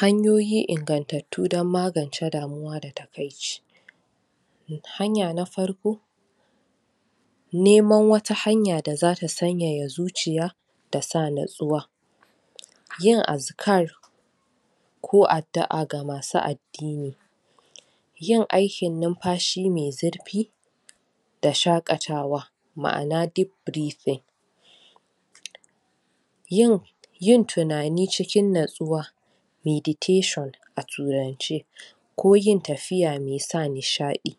Hanyoyi ingatattu dan magance damuwa da takaici hanya na farko neman wata hanya da za ta tsanyaya zuciya da sa natsuwa yin askar ko addua ga masu addini yin aikin nunfashi mai zurfi da shakatawa, maana deep breathing. Yin tunani cikin natsuwa meditation a turance ko yin tafiya mai sa nishadi